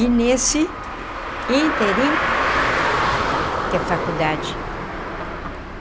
E nesse ínterim, que é a faculdade.